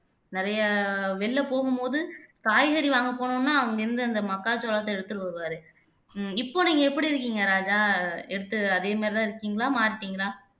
நிறைய வெளியில போகும்போது காய்கறி வாங்க போனோம்னா அங்க இருந்து அந்த மக்காச்சோளத்தை எடுத்துட்டு வருவாரு உம் இப்ப நீங்க எப்படி இருக்கீங்க ராஜா எடுத்து அதே மாதிரிதான் இருக்கீங்களா மாறிட்டீங்களா